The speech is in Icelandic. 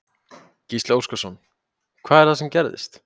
Gísli Óskarsson: Hvað er það sem gerðist?